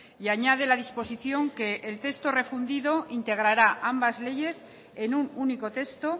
y añade la disposición que el texto refundido integrará ambas leyes en un único texto